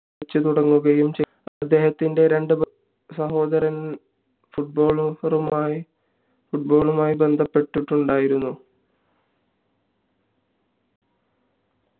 കളിച്ചു തുടങ്ങുകയും ചെയ്തു അദ്ദേഹത്തിന്റെ രണ്ടു ബന്ധുസഹോദരർ football ആയി ബന്ധപ്പെട്ടിട്ടുണ്ടായിരുന്നു